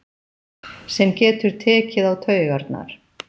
Sem getur tekið á taugarnar.